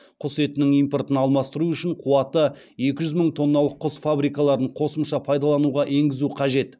құс етінің импортын алмастыру үшін қуаты екі жүз мың тонналық құс фабрикаларын қосымша пайдалануға енгізу қажет